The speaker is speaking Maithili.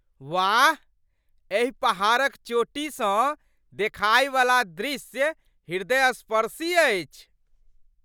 वाह! एहि पहाड़क चोटीसँ देखाय बला दृश्य हृदयस्पर्शी अछि।